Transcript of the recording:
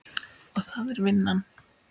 Og það er vinnan.